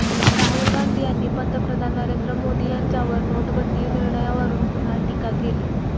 राहुल गांधी यांनी पंतप्रधान नरेंद्र मोदी यांच्यावर नोटाबंदी निर्णयावरुन पुन्हा टीका केली